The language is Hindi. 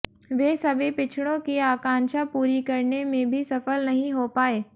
वे सभी पिछड़ों की आंकांक्षा पूरी करने में भी सफल नहीं हो पाए